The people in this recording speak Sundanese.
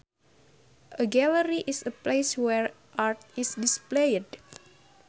A gallery is a place where art is displayed